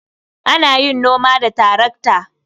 Ana yin noma da tarakta.